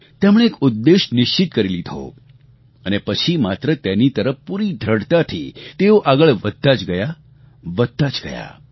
તેમણે એક ઉદ્દેશ્ય નિશ્ચિત કરી લીધો અને પછી માત્ર તેની તરફ પૂરી દૃઢતાથી તેઓ આગળ વધતા જ ગયા વધતા જ ગયા